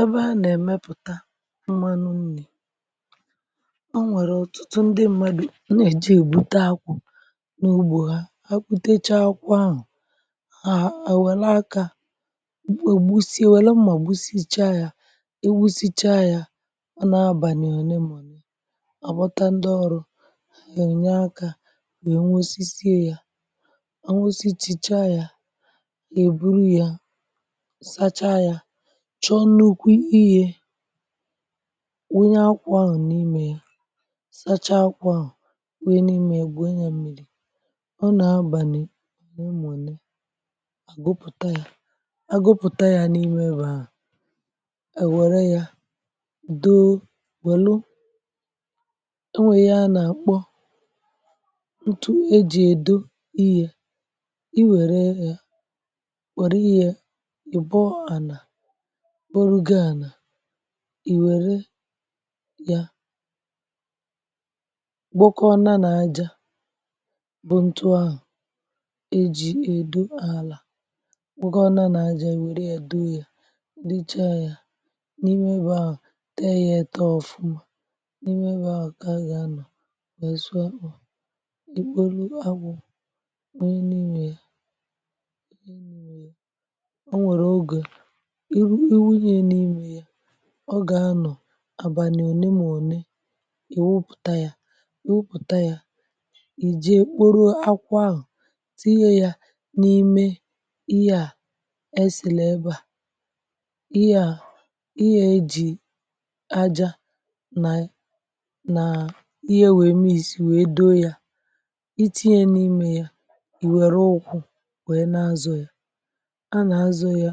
Ebe a nà-èmepùta mmanụ mmì, o nwèrè ọ̀tụtụ ndị mmadụ.. ọ nà-èji ègbute akwù n’ugbȯ ha. Ha kwụtecha akwù̇ ahụ̀ àhụ̀ à nwèla akà, nwèrè gbusie, nwèlo mà gbusicha yà, iwusicha yà. Ọ na-abànye òle màọ̀nụ̀ àgbọta ndị ọrụ̇, è onye akà wèe nwosisiė yà, ọ nwosichicha yà, è buru yà sọ nukwu, iyė wunye akwà. Ọ n’ime yà, um sacha akwà, ò nwee n’ime egwu, enye mmìrì. um Ọ nà-abànị n’ụmụ̀ne, àgụpụ̀ta yà, agụpụ̀ta yà n’ime bà. Èwère yà, doo wèlu, o nwè yà, nà-àkpọ ntụ e jì èdo iyė. Ị wère yà, wère iyė, ị̀bọ ànà, ị wère yà, bụkọọna nà-aja bụ ntu ahụ̀ e ji edo àlà, wère yà do yà, dicha yà n’ime ebe ȧ. Tẹ yà etọ ọ̀fụma n’ime ebe ȧ ka a gà-anọ̀, mesuo um àkpọ̀ i kporo agbụ̇, wunye n’imė ya. um... Ị nwèrè ogè ọ gà-anọ̀, àbà n’ònye m̀ ònne, ị̀ wụpụ̀ta ya, wụpụ̀ta ya. Ị jee m̀kpụrụ akwọ ahụ̀, tiiye ya n’ime ihe à. Èsìlè ebe à ihe à, ihe ejì aja nà nà ihe, wèe mis, wèe doo ya, itinye n’imė ya. Ị wère ụkwụ̀, wèe na-azụ ya,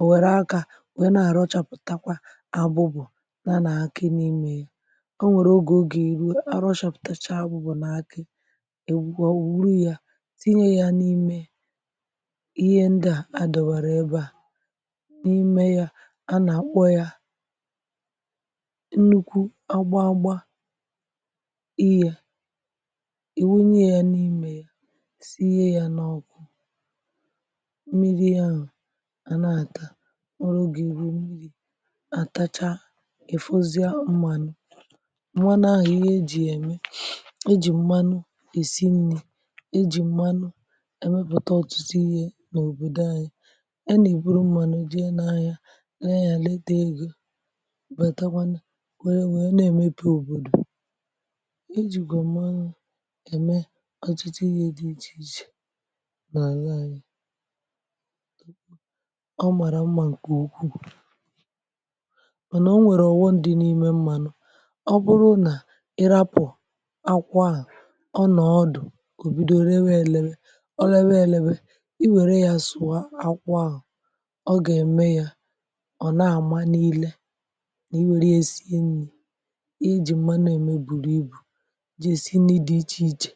ọ̀ wèrè aka, wèe na-àrọ̀chàpụ̀takwa abụbụ̀ nà nà-akị n’imė ya. Ọ nwèrè ogè, ogè eru e, arọ̇chàpụ̀tachaa, bụ̀ nà akị è gwuo ò ruo ya, tìnye ya n’ime ihe nda a dòbàrà ebe a n’ime ya. A nà-àkpọ ya nnukwu agba agba iyė. E wunye... ya n’ime ya, sie ya n’ọkụ. À na-àtà ọrụ ogè ìru mmìrì. Àtacha èfozie mmȧnụ̇ mwanahụ̀ ihe ejì ème. Ejì mmanụ èsinùrì, ejì mmanụ èmepùta ọtụtụ ihe n’òbòdò anyị. Yà nà ị, bụrụ mmanụ dị n’anya, lee ya, ledo egȯ, wètakwanụ, kwere, nwee, na-èmepe òbòdò. Ejì gàọ̀m anụ, ème ọtụtụ ihe dị ichè ichè. Ọ màrà mmȧ ǹkè ukwuu, mànà o nwèrè ọ̀wọ ndị nȧ ime mmȧ nọ. Ọ bụrụ nà ịrapụ̀ akwàhà, ọ nọ̀ ọdụ̀, ò bido ree èlere. Ọ lebe èlebe, um ị wère yà, sụ̀ akwàhà, ọ gà-ème yà..... Ọ̀ na-àma niile nà, i wère esi enyi̇ i jì m̀ma nà-ème, bùrù ibù, ji esi, um nì idi, ichè ichè.